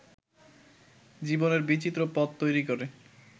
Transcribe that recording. জীবনের বিচিত্র পথ তৈরি করে